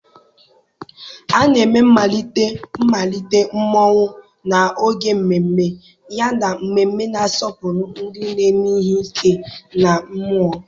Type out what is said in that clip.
A na-eme mmalite mmalite Mmonwu n'oge mmemme, yana mmemme na-asọpụrụ ndị na-eme ihe ike na mmụọ.